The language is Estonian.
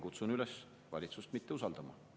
Kutsun üles valitsust mitte usaldama.